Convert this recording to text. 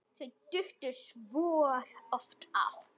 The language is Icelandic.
Þau duttu svo oft af.